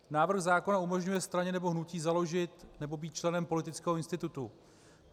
Návrh zákona umožňuje straně nebo hnutí založit nebo být členem politického institutu.